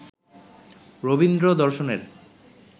রবীন্দ্র-দর্শনের